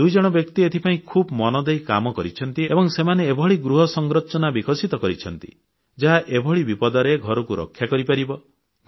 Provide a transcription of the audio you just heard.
ଦୁଇଜଣ ବ୍ୟକ୍ତି ଏଥିପାଇଁ ଖୁବ୍ ମନଦେଇ କାମ କରିଛନ୍ତି ଏବଂ ସେମାନେ ଏଭଳି ଗୃହ ସଂରଚନା ବିକଶିତ କରିଛନ୍ତି ଯାହା ଏଭଳି ବିପଦରେ ଘରକୁ ରକ୍ଷା କରିପାରିବ